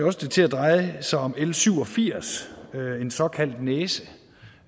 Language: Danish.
også til at dreje sig om l syv og firs en såkaldt næse